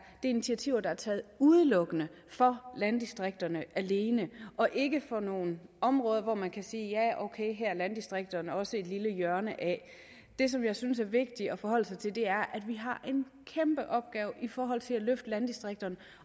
initiativer der er taget udelukkende for landdistrikterne og ikke for nogle områder hvor man kan sige ja okay det her er landdistrikterne også et lille hjørne af det som jeg synes er vigtigt at forholde sig til er at vi har en kæmpe opgave i forhold til at løfte landdistrikterne